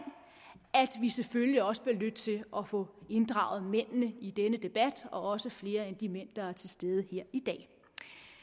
at vi selvfølgelig også bliver nødt til at få inddraget mændene i denne debat og også flere end de mænd der er til stede her i dag det